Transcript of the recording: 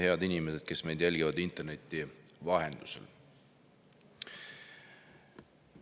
Head inimesed, kes meid jälgivad interneti vahendusel!